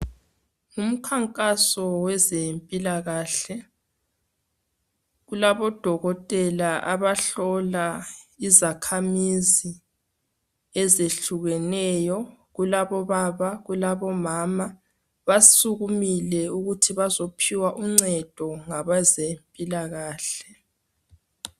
Umkhankaso wezempilakahle. Kulabo Dokotela abahlola izakhamizi ezehlukeneyo. Kulabo baba, kulabo mama .Basukumile ukuthi bazophiwa uncedo ngabazempilakahle.